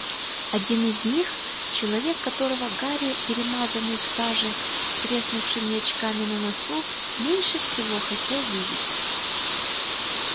один из них человек которого гарри перемазанный в саже с треснувшими очками на носу меньше всего хотел видеть